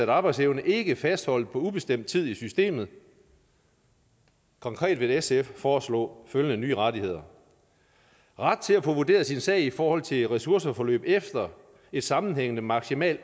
arbejdsevne ikke er fastholdt på ubestemt tid i systemet konkret vil sf foreslå følgende nye rettigheder ret til at få vurderet sin sag i forhold til ressourceforløb efter sammenhængende maksimalt